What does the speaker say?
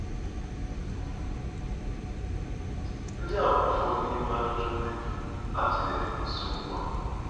Ndị a bụ ụfọdụ n'ime ajụjụ ndị a tụlere n'isiokwu a.